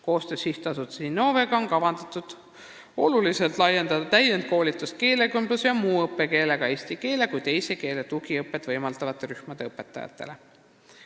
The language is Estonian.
Koostöös SA-ga Innove on kavas oluliselt laiendada täienduskoolitust keelekümbluse ja muu õppekeelega rühmades eesti keele kui teise keele tugiõpet võimaldavatele õpetajatele.